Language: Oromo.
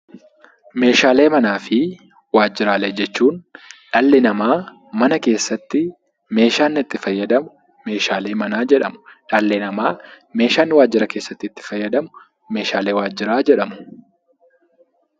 Meeshaalee manaa fi waajjiraalee jechuun dhalli namaa mana keessatti meeshaa inni fayyadamu meeshaalee manaa jedhama. Meeshaan waajjira keessatti itti fayyadamnu meeshaalee waajjiraa jedhamu.